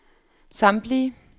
samtlige